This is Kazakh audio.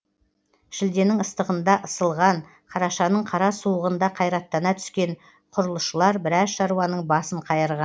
шілденің ыстығында ысылған қарашаның қара суығында қайраттана түскен құрылысшылар біраз шаруаның басын қайырған